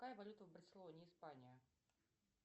какая валюта в барселоне испания